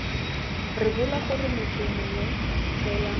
rebola gore motho mongwe fela